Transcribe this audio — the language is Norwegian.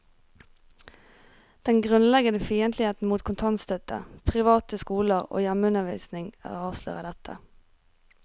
Den grunnleggende fiendtlighet mot kontantstøtte, private skoler og hjemmeundervisning avslører dette.